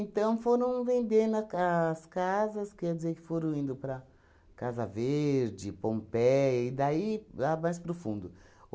foram vendendo a ca as casas, quer dizer, que foram indo para Casa Verde, Pompéia e daí a mais para o fundo.